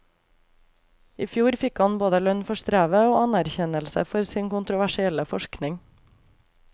I fjor fikk han han både lønn for strevet, og anerkjennelse for sin kontroversielle forskning.